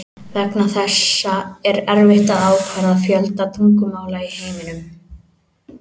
Vegna þessa er erfitt að ákvarða fjölda tungumála í heiminum.